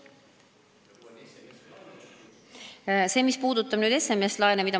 Ma kuulsin sealt küsimust SMS-laenude kohta.